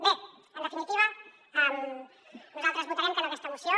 bé en definitiva nosaltres votarem que no a aquesta moció